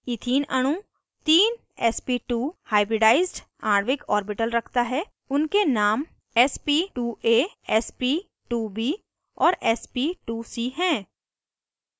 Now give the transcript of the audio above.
ethene अणु तीन sp2 hybridized आणविक ऑर्बिटल रखता है उनके नाम sp2a sp2b और sp2c हैं